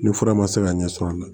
Ni fura ma se ka ɲɛ sɔrɔ an na